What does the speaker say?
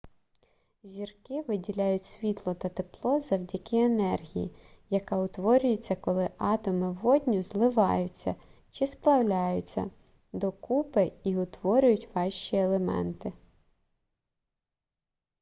зірки виділяють світло та тепло завдяки енергії яка утворюється коли атоми водню зливаютья чи сплавляються докупи і утворюють важчі елементи